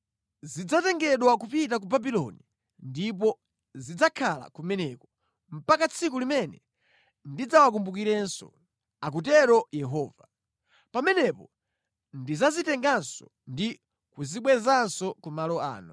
‘Zidzatengedwa kupita ku Babuloni ndipo zidzakhala kumeneko mpaka tsiku limene ndidzawakumbukirenso,’ akutero Yehova. ‘Pamenepo ndidzazitenganso ndi kuzibwezanso ku malo ano.’ ”